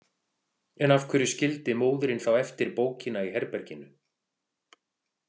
En af hverju skildi móðirin þá eftir bókina í herberginu?